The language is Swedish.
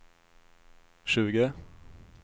tjugo